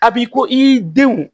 A bi ko i denw